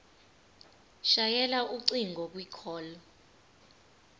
shayela ucingo kwicall